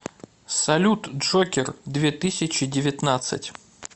салют джокер две тысячи девятнадцать